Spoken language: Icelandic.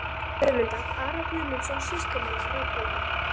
Guðmundar, Ara Guðmundsson, sýslumann á Reykhólum.